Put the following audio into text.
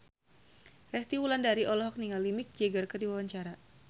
Resty Wulandari olohok ningali Mick Jagger keur diwawancara